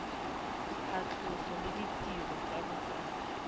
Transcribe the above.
phatlhoso le ditirelo tsa botsadi